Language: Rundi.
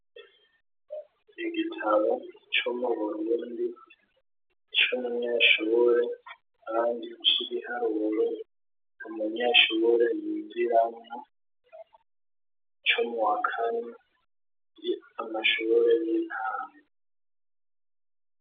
Igitabo co mu Burubundi c'umunyeshubure kandi c' ibiharuro, umunyeshubure yigiramwo co muwa kane, amashubure y'intango.